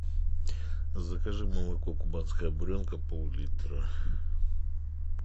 закажи молоко кубанская буренка пол литра